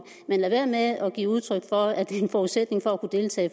men lad være med at give udtryk for at det er en forudsætning for at kunne deltage